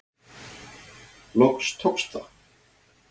Loks tókst það.